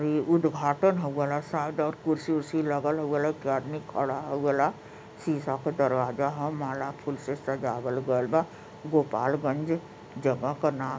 ये उदघाटन होगल ह सायद और कुर्सी उसी लगल ह उ हे के लेके आदमी खड़ा हो गल ह शीशा क दरवाजा ह माला फूल से सजावल गइल बा गोपालगंज जगह के नाम --